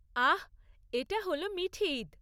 আহ! এটা হল মিঠি ঈদ।